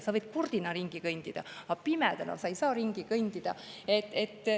Sa võid kurdina ringi kõndida, aga pimedana sa ei saa ringi kõndida.